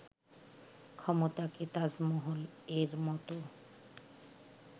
ক্ষমতাকে 'তাজমহল'-এর মতো